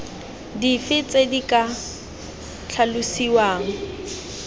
dife tse di ka tlhalosiwang